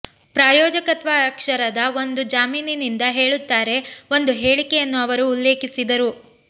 ಪ್ರಾಯೋಜಕತ್ವ ಅಕ್ಷರದ ಒಂದು ಜಾಮೀನಿನಿಂದ ಹೇಳುತ್ತಾರೆ ಒಂದು ಹೇಳಿಕೆಯನ್ನು ಅವರು ಉಲ್ಲೇಖಿಸಿದರು